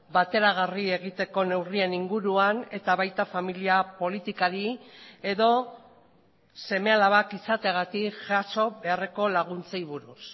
bateragarri egiteko neurrien inguruan eta baita familia politikari edo seme alabak izateagatik jaso beharreko laguntzei buruz